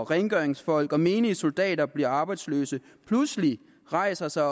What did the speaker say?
rengøringsfolk og menige soldater bliver arbejdsløse pludselig rejser sig